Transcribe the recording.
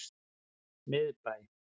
Miðbæ